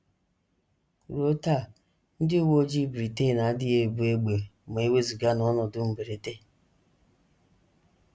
Ruo taa ndị uwe ojii Britain adịghị ebu égbè ma e wezụga n’ọnọdụ mberede.